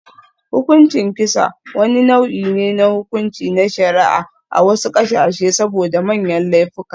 Hukuncin kisa, wani nau'i ne na hukunci na shari'a a wasu ƙasashe saboda manyan laifuka.